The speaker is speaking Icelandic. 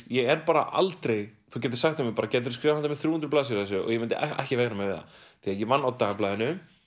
ég er bara aldrei þú gætir sagt við mig geturðu skrifað þrjú hundruð blaðsíður af þessu og ég myndi ekki veigra mér við það því ég vann á dagblaðinu